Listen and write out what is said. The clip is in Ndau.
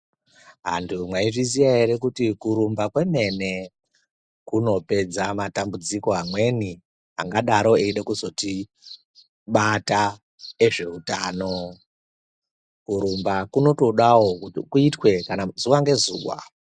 Antu mwaizviziya ere kuti kurumba kwemene kunopedza matambudziko amweni angadaro eida kuzotibata ezveutano. Kurumba kunotodawo kuitwa kana zuwa ngezuwa.